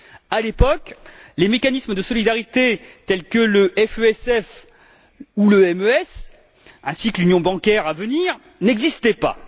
À l'époque, les mécanismes de solidarité, tels que le FESF ou le MES ainsi que l'union bancaire à venir, n'existaient pas.